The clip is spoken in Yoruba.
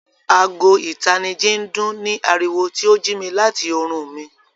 Àágò̀ ìtànìjì ń dún ní aríwọ, tí o jí mi láti orún mi.